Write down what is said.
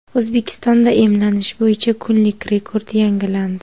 O‘zbekistonda emlanish bo‘yicha kunlik rekord yangilandi.